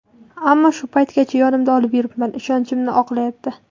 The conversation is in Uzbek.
Ammo shu paytgacha yonimda olib yuribman, ishonchimni oqlayapti.